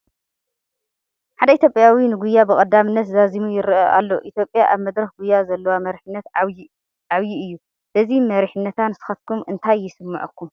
ሓደ ኢትዮጵያዊ ንጉያ ብቐዳምነት ዛዚሙ ይርአ ኣሎ፡፡ ኢትዮጵያ ኣብ መድረኽ ጉያ ዘለዋ መሪሕነት ዓብዪ እዩ፡፡ በዚ መሪሕነታ ንስኻትኩም እንታይ ይስምዐኩም?